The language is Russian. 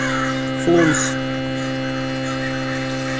флунс